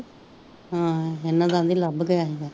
ਇਹਨਾਂ ਦਾ ਤੇ ਲਬ ਗਿਆ ਸੀਗਾ